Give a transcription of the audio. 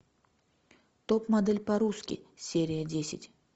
топ модель по русски серия десять